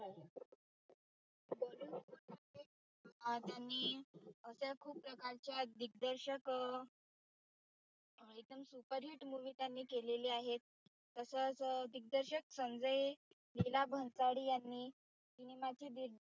अह आणि अशा खूप प्रकारच्या दिग्दर्शक एक्दम superhit movie त्यांनी केलेल्या आहेत. तसच दिगदर्शक संजय लीला भन्साळी cinema ची